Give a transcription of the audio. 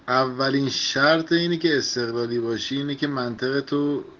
авария картинки стиральной машинки